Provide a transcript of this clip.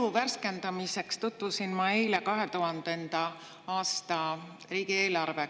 Mälu värskendamiseks tutvusin ma eile 2000. aasta riigieelarvega.